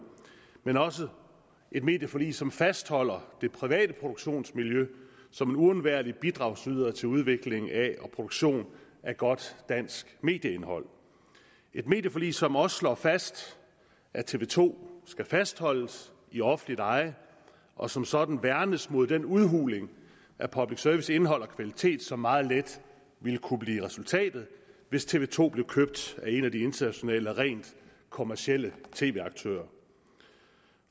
men også et medieforlig som fastholder det private produktionsmiljø som en uundværlig bidragsyder til udvikling af og produktion af godt dansk medieindhold og et medieforlig som også slår fast at tv to skal fastholdes i offentligt eje og som sådan værnes mod den udhuling af public service indhold og kvalitet som meget let ville kunne blive resultatet hvis tv to blev købt af en af de internationale rent kommercielle tv aktører